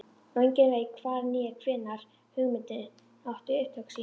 Og enginn veit hvar né hvenær hugmyndin átti upptök sín.